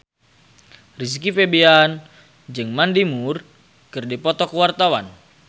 Rizky Febian jeung Mandy Moore keur dipoto ku wartawan